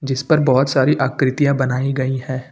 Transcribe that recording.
इस पर बहोत सारी आकृतियां बनाई गई है।